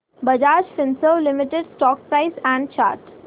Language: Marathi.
Bajaj Finserv limited stock price and chart